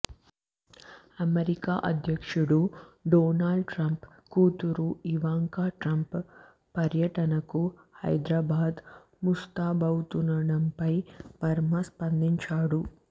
America అధ్యక్షుడు Donald Trump కూతురు Ivanka Trump పర్యటనకు హైదరాబాద్ ముస్తాబావుతుండడంపై వర్మ స్పందించారు